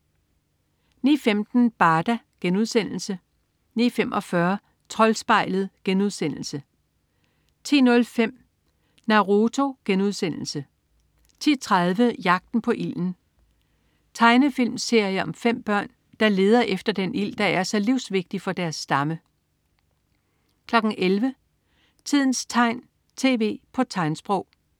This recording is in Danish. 09.15 Barda* 09.45 Troldspejlet* 10.05 Naruto* 10.30 Jagten på ilden. Tegnefilmserie om 5 børn, der leder efter den ild, der er så livsvigtig for deres stamme 11.00 Tidens tegn, tv på tegnsprog